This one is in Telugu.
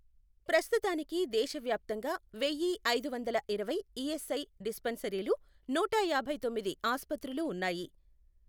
ప్రస్తుతానికి దేశవ్యాప్తంగా వెయ్య ఐదు వందల ఇరవై ఈఎస్ఐ డిస్పెన్సరీలు, నూట యాభై తొమ్మిది ఆస్పత్రులు ఉన్నాయి.